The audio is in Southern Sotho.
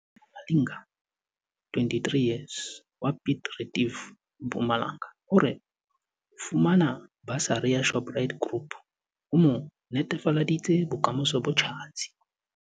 Sonia Malinga, 23, wa Piet Retief, Mpumalanga o re ho fumana basari ya Shoprite Group ho mo netefaleditse bokamoso bo tjhatsi.